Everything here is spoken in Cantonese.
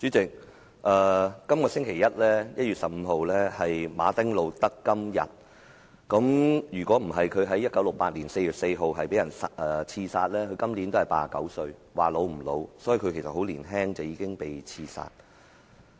主席，這個星期一是馬丁.路德.金日，如果他沒有在1968年4月4日被刺殺，今年便已89歲，也不算很老。